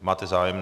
Máte zájem?